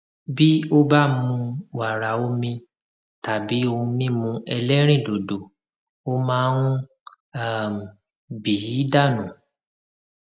bí ó bá mu wàrà omi tàbí ohun mímú ẹlẹrìndòdò ó máa ń um bì í dànù